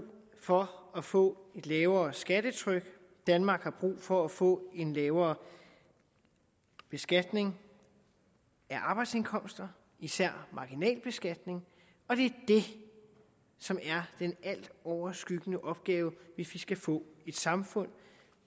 for at få et lavere skattetryk danmark har brug for at få en lavere beskatning af arbejdsindkomster især marginalbeskatningen og det er det som er den altoverskyggende opgave hvis vi skal få et samfund